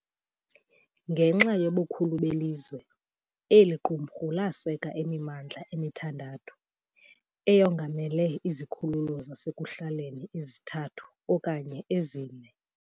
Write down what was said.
Ngenxa yobukhulu belizwe, eli qumrhu laseka imimandla emithandathu, eyongamele izikhululo zasekuhlaleni ezithathu okanye ezine.